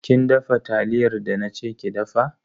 Kin dafa taliyar da na ce ki dafa?